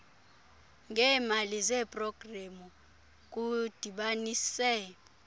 ngeemali zeprogramu kudibanise